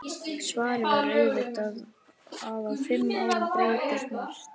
Svarið var auðvitað að á fimm árum breytist margt.